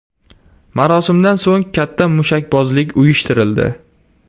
Marosimdan so‘ng katta mushakbozlik uyushtirildi.